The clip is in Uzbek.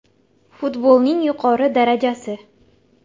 Futbolning yuqori darajasi.